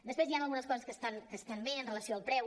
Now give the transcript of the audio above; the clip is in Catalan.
després hi han algunes coses que estan bé amb relació al preu